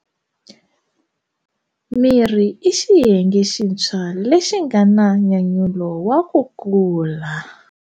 Mirhi i xiyenge xintshwa lexi nga na nyanyulo wa ku kula.